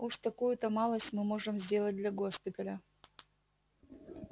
уж такую-то малость мы можем сделать для госпиталя